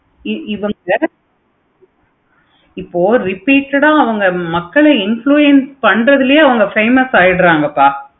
இவங்க இப்போ repeated ஆஹ் மக்களை influence பன்றாங்க பண்றதுலையே அவங்க famous ஆகிரங்கப்பா